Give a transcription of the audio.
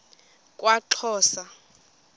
kwaxhosa